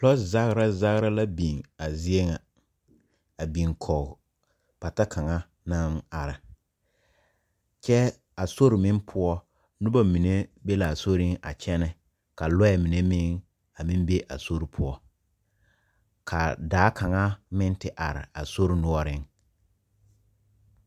Lɔɔ zagera zagera la biŋ a zie ŋa, a biŋ kɔge pata kaŋa naŋ are, kyɛ a sori meŋ poɔ, noba be laa soriŋ a kyɛnɛ, ka lɔɛ mine meŋ a meŋ be a soriŋ, ka daa kaŋa meŋ te are a sori noɔreŋ.